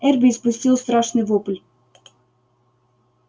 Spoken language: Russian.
эрби испустил страшный вопль